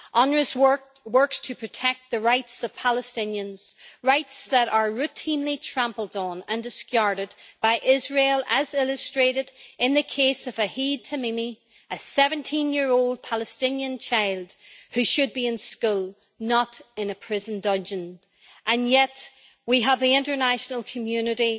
UNRWA works to protect the rights of Palestinians, rights that are routinely trampled on and discarded by Israel, as illustrated in the case of Ahed Tamimi, a 17-year-old Palestinian child who should be in school, not in a prison dungeon. Yet we have the international community